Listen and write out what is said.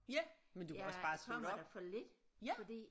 Ja men du kan også bare slå det op ja